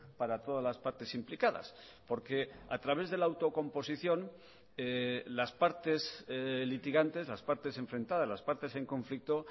para todas las partes implicadas porque a través de la autocomposición las partes litigantes las partes enfrentadas las partes en conflicto